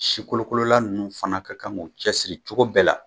Sikolokolola ninnu fana ka kan k'u cɛsiri cogo bɛɛ la